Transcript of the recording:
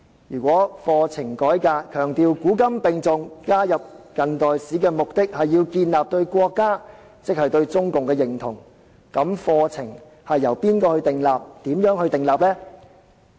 如果課程改革強調"古今並重"，加入近代史的目的是要建立對國家，即對中共的認同，課程應該由誰訂立及如何訂立？